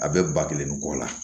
A bɛ ba kelen ni kɔ la